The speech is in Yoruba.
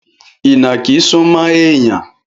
Ìnàkí súmọ́ èèyàn